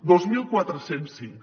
dos mil quatre cents cinc